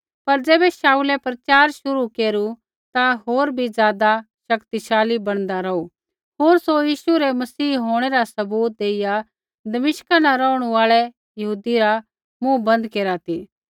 पर ज़ैबै शाऊलै प्रचार शुरू केरू ता होर बी ज़ादा शक्तिशाली बणदा रौहू होर सौ यीशु रै मसीह होंणै रा सबूत देईआ दमिश्का न रौहणु आल़ै यहूदी रा मुँह बन्द केरा ती